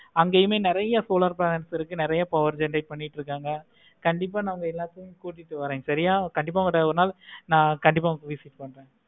அங்கையுமே நெறைய solar planets இருக்கு. நெறைய power generate பண்ணிட்டு இருக்காங்க. கண்டிப்பா நா உங்க எல்லாத்துக்குமே ஒரு நாள் நா கண்டிப்பா கூப்பிட்டு போறேன்.